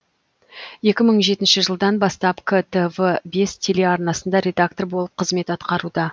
екі мың жетінші жылдан бастап ктв бес телеарнасында редактор болып қызмет атқаруда